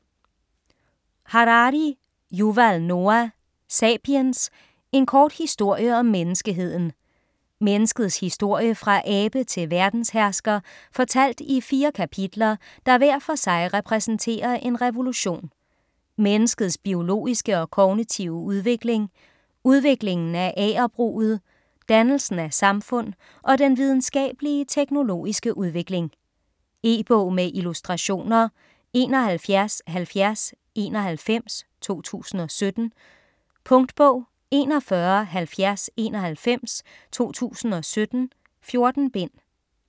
Harari, Yuval Noah: Sapiens: en kort historie om menneskeheden Menneskets historie fra abe til verdenshersker fortalt i fire kapitler der hver for sig repræsenterer en revolution: menneskets biologiske og kognitive udvikling, udviklingen af agerbruget, dannelsen af samfund og den videnskabelige/teknologiske udvikling. E-bog med illustrationer 717091 2017. Punktbog 417091 2017. 14 bind.